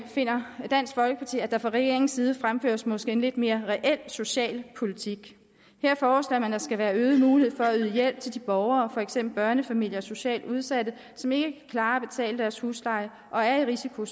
finder dansk folkeparti at der fra regeringens side fremføres en måske lidt mere reel social politik her forslår man at der skal være øget mulighed for at yde hjælp til de borgere for eksempel børnefamilier og socialt udsatte som ikke kan klare at betale deres husleje og er i risiko